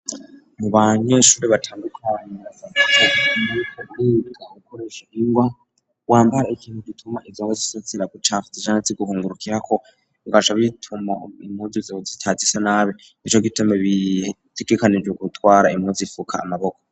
mu banyeshuri batandukanye bakoresha ingwa wambara ikintu gituma izo ngwa zibatera gucafura canke ziguhungurukirako zigaca zituma impuzu zawe zitaha zisa nabi nico gituma bitegekanijwe gutwara impuzi ifuka amaboko.